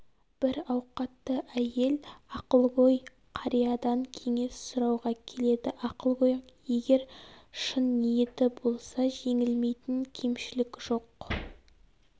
бір ауқатты әйел ақылгөй қариядан кеңес сұрауға келеді ақылгөй егер шын ниеті болса жеңілмейтін кемшілік жоқ